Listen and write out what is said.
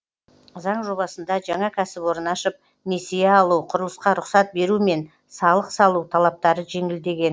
заң жобасында жаңа кәсіпорын ашып несие алу құрылысқа рұқсат беру мен салық салу талаптары жеңілдеген